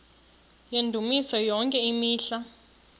yendumiso yonke imihla